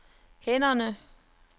hænderne